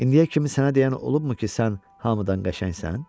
İndiyə kimi sənə deyən olubmu ki, sən hamıdan qəşəngsən?